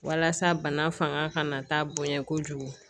Walasa bana fanga ka na taa bonɲɛ kojugu